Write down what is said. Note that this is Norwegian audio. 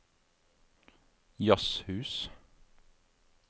jazzhus